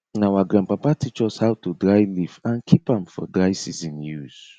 na our grandpapa teach us how to dry leaf and keep am for dry season use